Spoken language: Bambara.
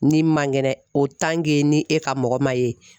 Ni man kɛnɛ ni e ka mɔgɔ ma ye